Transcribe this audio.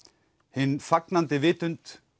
hin fagnandi vitund